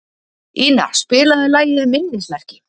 Ina, spilaðu lagið „Minnismerki“.